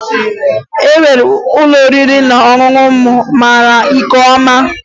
E nwere ụlọ oriri na ọṅụṅụ m mara nke ọma